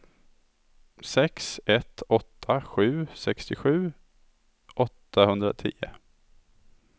sex ett åtta sju sextiosju åttahundratio